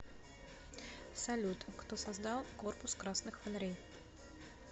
салют кто создал корпус красных фонарей